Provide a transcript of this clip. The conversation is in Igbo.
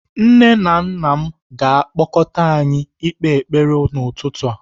Nne na nna m ga-akpọkọta anyị ikpe ekpere n'ụtụtụ a.